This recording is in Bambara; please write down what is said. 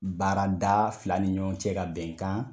Baarada fila ni ɲɔgɔn cɛ ka bɛnkan.